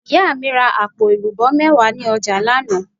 Ìyá mi ra àpò èlùbó méwàá ni ojà lánàá